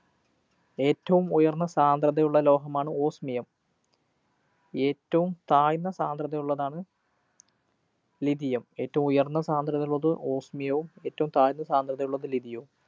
ഏറ്റവും ഉയര്‍ന്ന സാന്ദ്രതയുള്ള ലോഹമാണ് Osmium. ഏറ്റവും താഴ്ന്ന സാന്ദ്രതയുള്ളതാണ് lithium. ഏറ്റവും ഉയര്‍ന്ന സാന്ദ്രതയുള്ളത്‌ osmium യവും ഏറ്റവും താഴ്ന്ന സാന്ദ്രതയുള്ളത്‌ lithium വും.